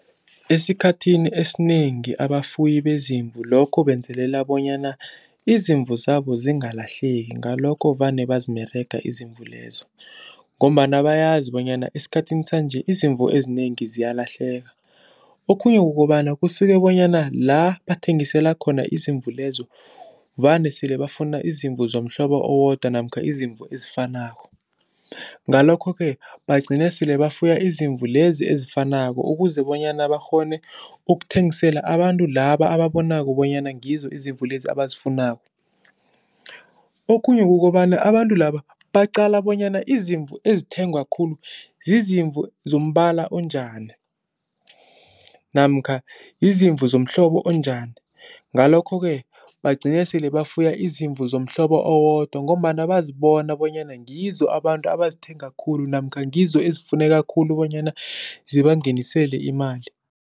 Esikhathini esinengi abafuyi bezimvu lokho benzelela bonyana izimvu zabo zingalahleki, ngalokho vane bazimerega izimvu lezo ngombana bayazi bonyana esikhathini sanje izimvu ezinengi ziyalahleka. Okhunye kukobana kusuke bonyana la bathengisela khona izimvu lezo vane sele bafuna izimvu zomhlobo owodwa namkha izimvu ezifanako, ngalokho-ke bagcine sele bafuye izimvu lezi ezifanako ukuze bonyana bakghone ukuthengisela abantu laba ababonako bonyana ngizo izimvu lezi abazifunako. Okhunye kukobana abantu laba baqala bonyana izimvu ezithengwa khulu zizimvu zombala onjani namkha yizimvu zomhlobo onjani, ngalokho-ke bagcine sele bafuya izimvu zomhlobo owodwa ngombana bazibona bonyana ngizo abantu abazithenga khulu namkha ngizo ezifuneka khulu bonyana zibangenisele imali.